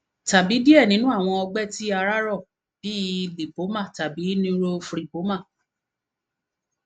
tabi diẹ ninu awọn ọgbẹ ti ara rọ bi lipoma tabi neurofibroma